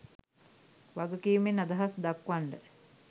වගකීමෙන් අදහස් දක්වන්ඩ